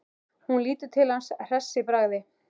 Hún lítur til hans hress í bragði.